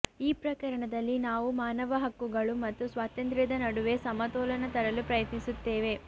ಈ ಪ್ರಕರಣದಲ್ಲಿ ನಾವು ಮಾನವ ಹಕ್ಕುಗಳು ಮತ್ತು ಸ್ವಾತಂತ್ರ್ಯದ ನಡುವೆ ಸಮತೋಲನ ತರಲು ಪ್ರಯತ್ನಿಸುತ್ತೇವೆ